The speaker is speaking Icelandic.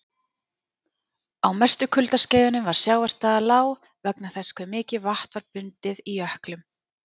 Á mestu kuldaskeiðunum var sjávarstaða lág vegna þess hve mikið vatn var bundið í jöklum.